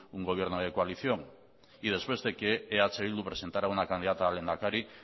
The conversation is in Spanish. un gobierno de coalición y después de que eh bildu presentara una candidata a lehendakari